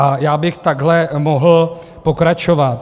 A já bych takhle mohl pokračovat.